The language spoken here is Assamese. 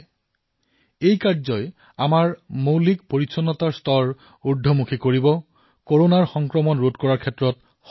ই প্ৰাথমিক স্বাস্থ্যবিধিৰ স্তৰ বৃদ্ধি কৰিব কৰোনা সংক্ৰমণ ৰোধ কৰাত সহায় কৰিব